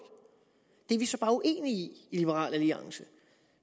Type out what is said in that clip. det er vi så bare uenige i i liberal alliance